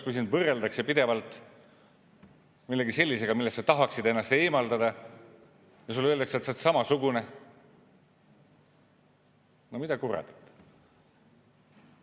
Kui sind võrreldakse pidevalt millegi sellisega, millest sa tahaksid ennast eemaldada, ja sulle öeldakse, et sa oled samasugune – no mida kuradit!